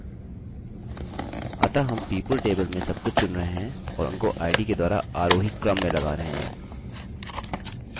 अतः हम people टेबलतालिकामें सब कुछ चुन रहे हैं और उनको id के द्वारा आरोही क्रम में लगा रहा हूँ